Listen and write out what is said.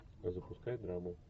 запускай драму